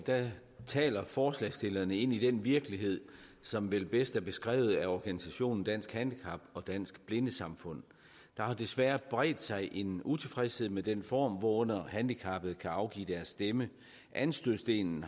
taler forslagsstillerne ind i den virkelighed som vel bedst er beskrevet af organisation dansk handicap og dansk blindesamfund der har desværre bredt sig en utilfredshed med den form hvorunder handicappede kan afgive deres stemme anstødsstenen